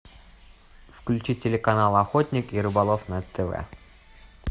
включи телеканал охотник и рыболов на тв